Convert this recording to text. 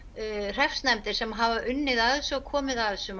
hreppsnefndir sem hafa unnið að þessu og komið að þessu